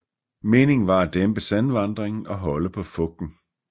Meningen var at dæmpe sandvandringen og holde på fugten